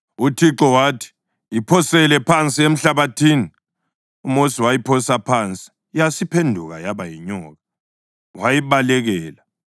UThixo wathi, “Iphosele phansi emhlabathini.” UMosi wayiphosa phansi yasiphenduka yaba yinyoka, wayibalekela.